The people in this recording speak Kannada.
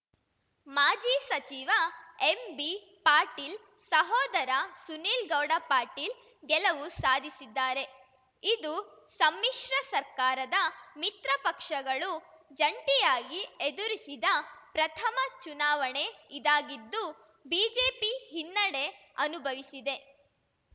ಮಾಜಿ ಸಚಿವ ಎಂಬಿ ಪಾಟೀಲ್‌ ಸಹೋದರ ಸುನೀಲಗೌಡ ಪಾಟೀಲ್‌ ಗೆಲವು ಸಾಧಿಸಿದ್ದಾರೆ ಇದು ಸಮ್ಮಿಶ್ರ ಸರ್ಕಾರದ ಮಿತ್ರಪಕ್ಷಗಳು ಜಂಟಿಯಾಗಿ ಎದುರಿಸಿದ ಪ್ರಥಮ ಚುನಾವಣೆ ಇದಾಗಿದ್ದು ಬಿಜೆಪಿ ಹಿನ್ನಡೆ ಅನುಭವಿಸಿದೆ